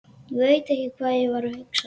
Ég veit ekki hvað ég var að hugsa.